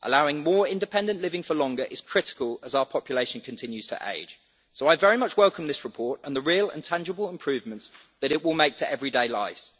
Allowing more independent living for longer is critical as our population continues to age. So I very much welcome this report and the real and tangible improvements that it will make to everyday lives.